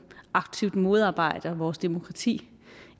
aktivt modarbejder vores demokrati